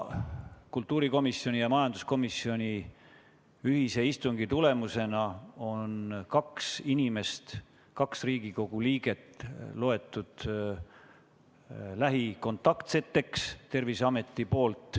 Kultuurikomisjoni ja majanduskomisjoni ühisistungi tõttu on Terviseamet lugenud kaks inimest, kaks Riigikogu liiget, lähikontaktseks.